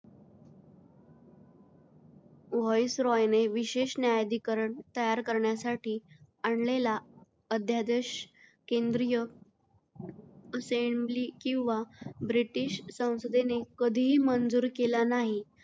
Voice Roy ने विशेष न्यायाधिकरण तयार करण्यासाठी आणलेला अध्यादेश केंद्रीय असेम्ब्ली किंवा ब्रिटिश संसदेने कधीही मंजूर केला नाही.